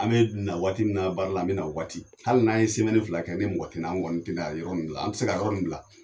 An mɛ na waati min baara la, an mɛna o waati, hali n'an ye fila kɛ ni mɔgɔ tina an kɔni tina yɔrɔ nin bila, an ti se ka yɔrɔ nin bila